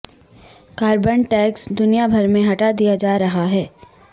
carbon tax دنیا بھر میں ہٹا دیا جا رہا ہے